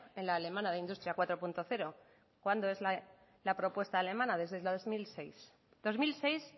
en la alemana de industria cuatro punto cero de cuándo es la propuesta alemana desde el dos mil seis